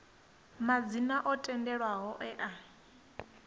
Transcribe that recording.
madzina o tendelwaho e a